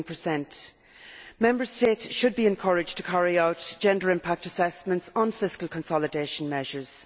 16 Member States should be encouraged to carry out gender impact assessments on fiscal consolidation measures.